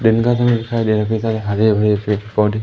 दिन का समय दिखाई दे रहा है कई सारे हरे भरे पौधे--